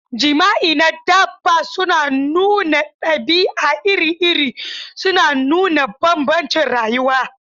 Jima'i na dabba suna nuna ɗabi'a iri-iri, suna nuna bambancin rayuwa.